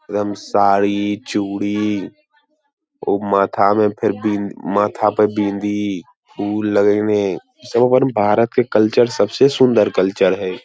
एवं साड़ी चूड़ी उ माथा में फिर बिंद माथा पे फिर बिंदी फूल लगे हमे सब हमारे भारत के कल्चर सबसे सुन्दर कल्चर है।